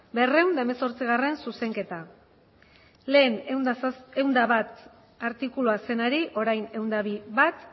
berrehun eta hemezortzigarrena zuzenketa lehen ehun eta bat artikulua zenari orain ehun eta bi puntu bat